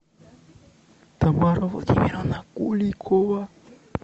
тамара владимировна куликова